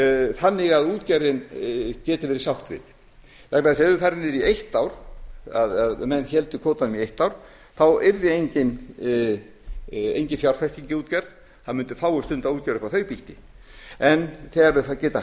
þannig að útgerðin geti verið hjálpleg vegna þess að ef við færum niður í eitt ár menn héldu kvótanum í eitt ár þá yrði engin fjárfesting í útgerð og fáir mundu stunda útgerð upp á þau býti en þegar þeir geta